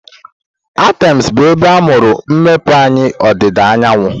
Athens bụ ebe amụrụ mmepeanya ọdịda anyanwụ.